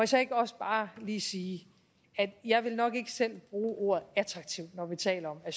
så ikke også bare lige sige at jeg nok ikke selv ville bruge ordet attraktivt når vi taler om